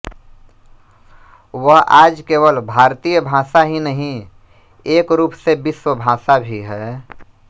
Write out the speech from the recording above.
वह आज केवल भारतीय भाषा ही नहीं एक रूप से विश्वभाषा भी है